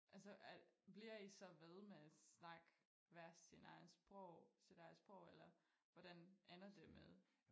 Altså er bliver I så ved med snakke hver sin egen sprog sit eget sprog eller hvordan ender det med